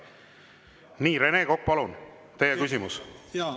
Nii, Rene Kokk, palun, teie küsimus!